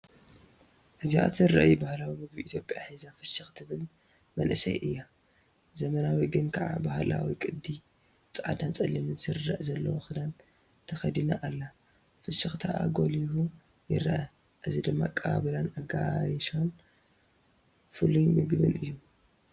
እዚኣ ትሬይ ባህላዊ ምግቢ ኢትዮጵያ ሒዛ ፍሽኽ ትብል መንእሰይ እያ። ዘመናዊ ግን ከኣ ባህላዊ ቅዲ ጻዕዳን ጸሊምን ስርርዕ ዘለዎ ክዳን ተኸዲና ኣላ። ፍሽኽታኣ ጐሊሑ ይርአ። እዚ ድማ ኣቀባብላን ኣጋይሹን ፍሩይ መግብን እዩ።